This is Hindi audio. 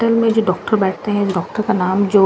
में जो डॉक्टर बैठते हैं डॉक्टर का नाम जो--